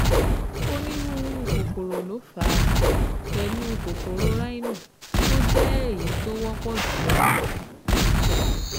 Onírúurú kòkòrò ló fà á, pẹ̀lú kòkòrò rhino tó jẹ́ èyí tó wọ́pọ̀ jùlọ